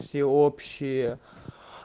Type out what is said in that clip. всеобщее